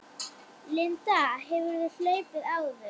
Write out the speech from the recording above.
Linda: Hefurðu hlaupið áður?